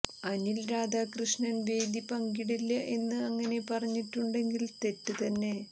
അനിൽ രാധാകൃഷ്ണൻ വേദി പങ്കിടില്ല എന്ന് അങ്ങനെ പറഞ്ഞിട്ടുണ്ടെങ്കിൽ തെറ്റ് തന്നെ